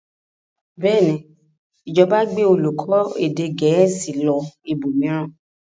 Bẹ́ẹ̀ ni, ìjọba gbé olùkọ́ èdè Gẹ̀ẹ́sì lọ ibòmíràn.